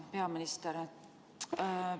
Hea peaminister!